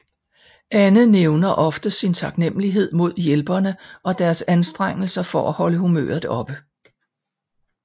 Anne nævner ofte sin taknemlighed mod hjælperne og deres anstrengelser for at holde humøret oppe